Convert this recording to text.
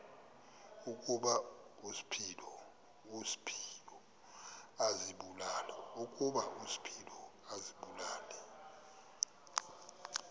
ukuba uspido azibulale